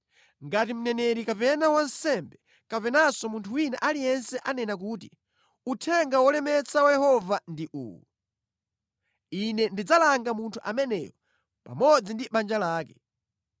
Ngati mneneri kapena wansembe kapenanso munthu wina aliyense anena kuti, ‘Uthenga wolemetsa wa Yehova ndi uwu,’ Ine ndidzalanga munthu ameneyo pamodzi ndi banja lake.